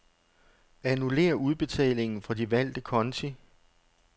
Annullér udbetalingen fra de valgte konti.